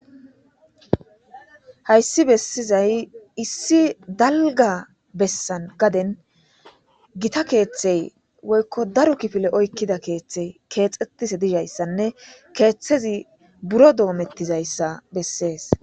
Hayssi bessizay issi dalga bessan gaden gita keeththey woykko daro kifile oykkida keeththey keexetise dizhayssanne keeththezi buro doomettizayssa bessees.